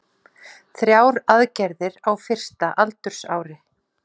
Þrjár aðgerðir á fyrsta aldursári